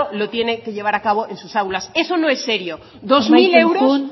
lo tiene que llevar a cabo en sus aulas eso no es serio amaitzen joan urrea andrea dos mil euros